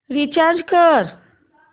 recharge कर